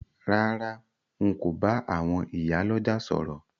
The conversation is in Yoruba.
Rárá, n ko ba àwon ìyá lójà sòrò